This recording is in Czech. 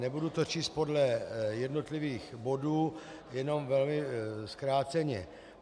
Nebudu to číst podle jednotlivých bodů, jenom velmi zkráceně.